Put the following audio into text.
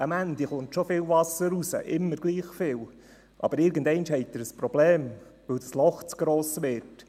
Am Ende der Leitung kommt zwar schon immer gleich viel Wasser hinaus, aber irgendeinmal haben Sie ein Problem, weil das Loch zu gross wird.